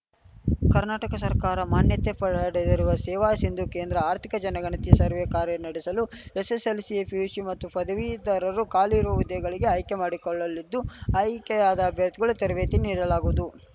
ಕರ್ನಾಟಕ ಸರ್ಕಾರ ಮಾನ್ಯತೆ ಪಡೆದಿರುವ ಸೇವಾ ಶಿಂಧು ಕೇಂದ್ರ ಆರ್ಥಿಕ ಜನಗಣತಿ ಸರ್ವೇ ಕಾರ್ಯ ನಡೆಸಲು ಎಸ್‌ಎಸ್‌ಎಲ್‌ಶಿ ಪಿಯುಶಿ ಮತ್ತು ಪದವೀದರರು ಖಾಲಿ ಇರುವ ಹುದ್ದೆಗಳೆಗೆ ಆಯ್ಕೆ ಮಾಡಿಕೊಳ್ಳಲಿದ್ದು ಆಯ್ಕೆಯಾದ ಅಭ್ಯರ್ಥಿಗಳಿಗೆ ತರಬೇತಿ ನೀಡಲಾಗುವುದು